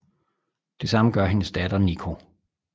Det samme gør hendes datter Nico